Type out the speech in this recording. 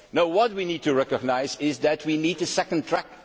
term. No, what we need to recognise is that we need a second